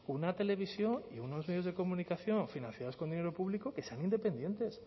una televisión y unos medios de comunicación financiados con dinero público que sean independientes